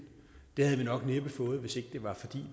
havde vi nok næppe fået hvis ikke det var fordi